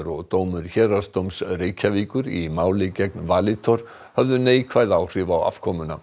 og dómur Héraðsdóms Reykjavíkur í máli gegn Valitor neikvæð áhrif á afkomuna